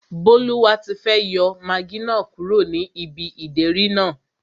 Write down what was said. Bólúwatifẹ́ yọ magí náà kúrò ní ibi ìdérí náà